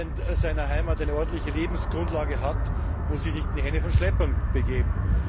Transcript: Wer in seiner Heimat eine ordentliche Lebensgrundlage hat, muss sich nicht in die Hände von Schleppern begeben.